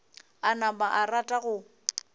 a napa a rata go